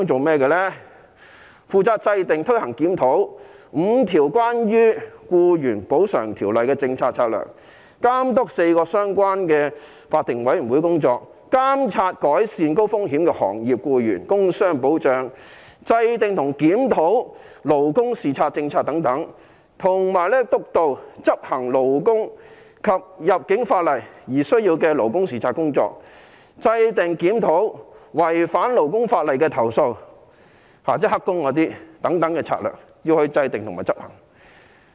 是負責制訂、推行、檢討5項與僱員補償相關的條例的政策策略、監督4個相關法定委員會的工作、監察改善高風險的行業僱員工傷保障、制訂和檢討勞工視察政策等，以及督導和執行勞工及入境法例而需要的勞工視察工作、制訂和檢討違反勞工法例的投訴，以上策略均須制訂及執行。